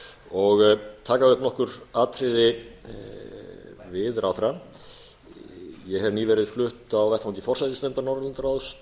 og taka upp nokkur atriði við ráðherrann ég hef nýverið flutt á vettvangi forsætisnefndar norðurlandaráðs